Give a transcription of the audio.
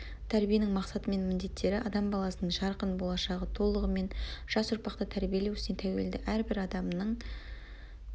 тәрбиенің мақсаты мен міндеттері адам баласының жарқын болашағы толығымен жас ұрпақты тәрбиелеу ісіне тәуелді әрбір адамның